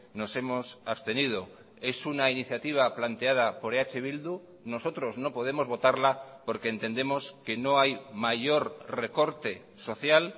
nos hemos abstenido es una iniciativa planteada por eh bildu nosotros no podemos votarla porque entendemos que no hay mayor recorte social